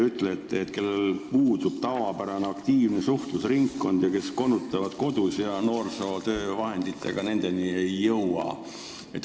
Mõtlen neid, kellel puudub tavapärane aktiivne suhtlusringkond, kes konutavad kodus ja kelleni noorsootöö vahenditega ei jõua.